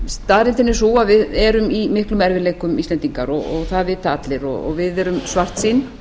staðreyndin er sú að við erum í miklum erfiðleikum íslendingar það vita allir og við erum svartsýn